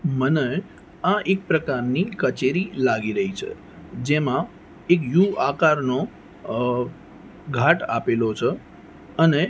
મને આ એક પ્રકારની કચેરી લાગી રહી છે જેમાં એક યુ આકાર નો અ ઘાટ આપેલો છે અને--